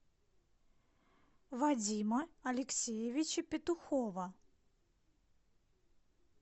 вадима алексеевича петухова